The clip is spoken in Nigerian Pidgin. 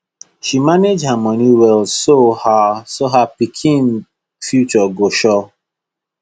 she manage her money well so her so her pikin future go sure